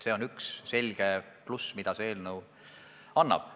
See on üks selge pluss, mis selle eelnõuga kaasneb.